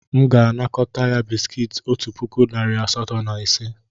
M ga-anakọta ya bisikiiti otu puku narị asatọ na ise.